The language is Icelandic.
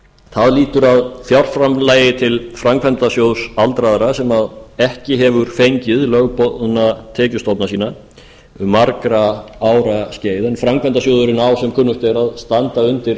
það lýtur að fjárframlagi til framkvæmdasjóðs aldraðra sem ekki hefur fengið lögboðna tekjustofna sína um margra ára skeið en framkvæmdasjóðurinn á sem kunnugt er að standa undir